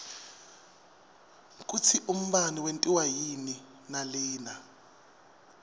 kutsi umbane wentiwa yini nalina